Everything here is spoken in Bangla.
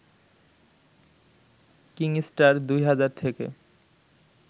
কিংস্টার ২ হাজার থেকে